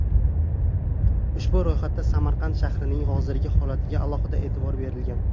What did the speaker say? Ushbu ro‘yxatda Samarqand shahrining hozirgi holatiga alohida e’tibor berilgan.